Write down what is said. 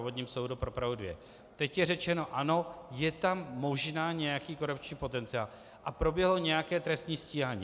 Obvodním soudu pro Prahu 2 - teď je řečeno, ano, je tam možná nějaký korupční potenciál a proběhlo nějaké trestní stíhání.